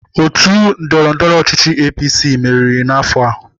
Otu ndọrọndọrọ ọchịchị APC meriri n'afọ a.